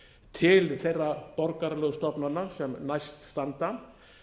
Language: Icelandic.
til þeirra borgaralegu stofnana sem næst standa